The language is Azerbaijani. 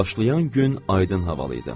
Başlayan gün aydın havalı idi.